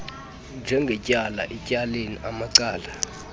njengetyala etyaleni amacala